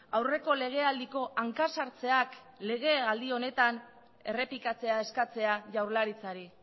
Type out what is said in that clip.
aurreko legealdiko hanka sartzeak legealdi honetan errepikatzea eskatzea jaurlaritzari